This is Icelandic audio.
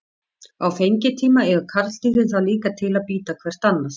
Á fengitíma eiga karldýrin það líka til að bíta hvert annað.